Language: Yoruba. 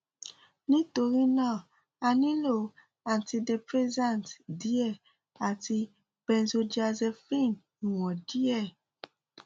nítorí náà a nílò antidepressant díẹ àti benzodiazepine ìwọ̀n díẹ̀